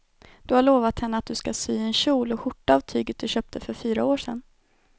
Du har lovat henne att du ska sy en kjol och skjorta av tyget du köpte för fyra år sedan.